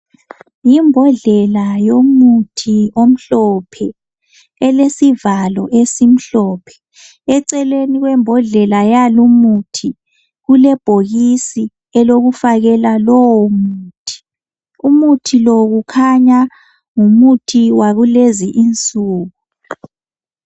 Yimbodlela yomuthi omhlophe, elesivalo esimhlophe. Eceleni kwembodlela yal' umuthi kulebhokisi lokufakela lowo muthi. Umuthi lo kukhanya ngumuthi wakulezi insuku.